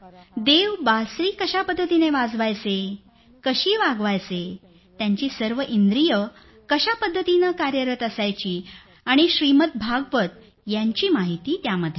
देव बासुरी कशा पद्धतीनं वाजवायचे कशी वागवायचे त्यांची सर्व इंद्रियं कशा पद्धतीनं कार्यरत असायची आणि श्रीमद् भागवत यांची माहिती त्यामध्ये आहे